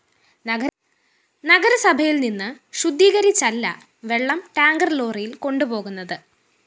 നഗരസഭയില്‍ നിന്ന് ശുദ്ധീകരിച്ചല്ല വെള്ളം ടാങ്കര്‍ ലോറിയില്‍ കൊണ്ടു പോകുന്നത്